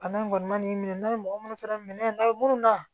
Bana in kɔni ma n'i minɛ n'a ye mɔgɔ munnu fɛnɛ minɛ n'a ye munnu na